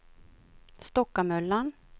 Stockamöllan